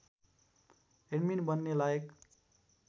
admin बन्ने लायक